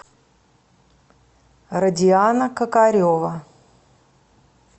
родиана кокарева